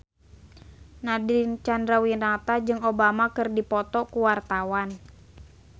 Nadine Chandrawinata jeung Obama keur dipoto ku wartawan